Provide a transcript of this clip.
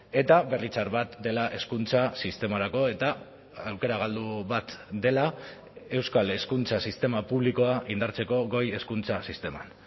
eta berri txar bat dela hezkuntza sistemarako eta aukera galdu bat dela euskal hezkuntza sistema publikoa indartzeko goi hezkuntza sisteman